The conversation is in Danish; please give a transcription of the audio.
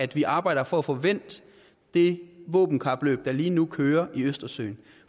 at vi arbejder for at få vendt det våbenkapløb der lige nu kører i østersøen